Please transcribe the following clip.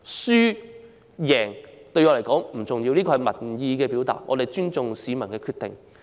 輸贏對我來說不重要，這是民意的表達，我們尊重市民的決定。